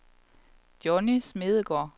Johnny Smedegaard